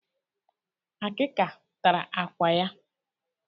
Termites destroyed her pictures